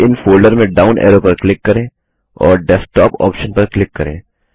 save in folder में down arrow पर click करें और Desktopऑप्शन पर क्लिक करें